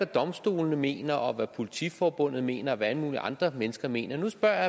domstolene mener og hvad politiforbundet mener og hvad alle mulige andre mennesker mener nu spørger